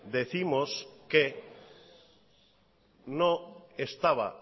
decimos que no estaba